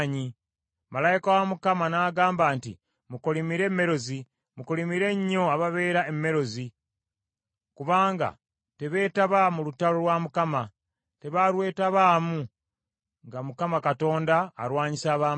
Malayika wa Mukama n’agamba nti, ‘Mukolimire Merozi . Mukolimire nnyo ababeera e Merozi; kubanga tebeetaba mu lutalo lwa Mukama . Tebaalwetabaamu nga Mukama Katonda alwanyisa ab’amaanyi.’